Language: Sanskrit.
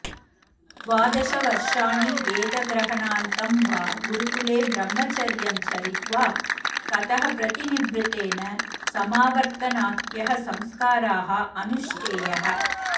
द्वादशवर्षाणि वेदग्रहणान्तं वा गुरुकुले ब्रह्मचर्यं चरित्वा ततः प्रतिनिवृत्तेन समावर्तनाख्यः संस्काराः अनुष्ठेयः